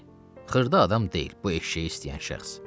Bəli, xırda adam deyil bu eşşəyi istəyən şəxs.